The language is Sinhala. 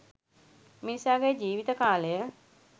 මිනිසාගේ ජීවිත කාලය